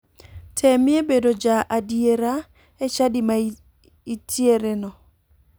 Temie bedo ja adiera e chadi ma itriereno.